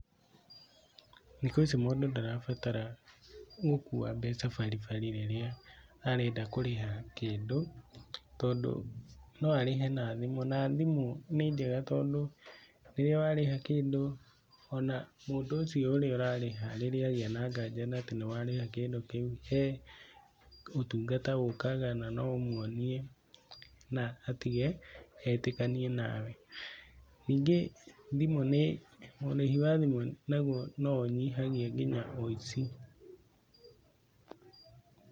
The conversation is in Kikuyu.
Thikũ ici mũndũ ndarabatara gũkua mbeca baribari rĩrĩa arenda kũrĩha kĩndũ tondũ no arĩhe na thimũ, na thimũ nĩ njega tondũ rĩrĩa warĩha kĩndũ, ona mũndũ ũcio ũrĩa ũrarĩha rĩrĩa agĩa na nganja atĩ nĩ warĩha kĩndũ kĩu he ũtungata ũkaha na no ũmwonie atige, na etĩkanie nawe, ningĩ thimũ nĩ, ũrĩhi wa thimũ naguo no ũnyihagia wũici.